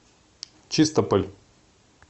чистополь